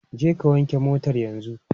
Jeka wanke wannan motar yanzu!